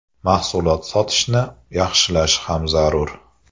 Mahsulot sotishni yaxshilash ham zarur.